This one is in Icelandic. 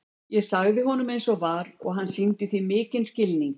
Ég sagði honum eins og var og hann sýndi því mikinn skilning.